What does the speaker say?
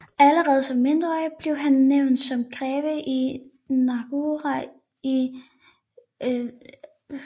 Allerede som mindreårig blev han nævnt som greve i Nahegau i 956